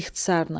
İxtisarla.